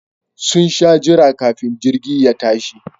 Sun sha jira kafin jirgi ya tashi